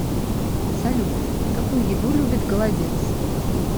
салют какую еду любит голодец